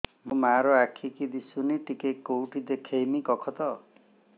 ମୋ ମା ର ଆଖି କି ଦିସୁନି ଟିକେ କେଉଁଠି ଦେଖେଇମି କଖତ